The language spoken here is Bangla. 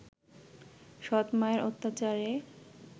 সৎ-মায়ের অত্যাচারে